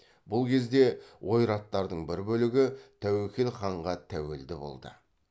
бұл кезде ойраттардың бір бөлігі тәуекел ханға тәуелді болды